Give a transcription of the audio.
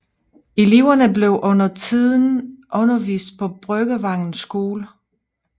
Eleverne blev under tiden undervist på Bryggervangens Skole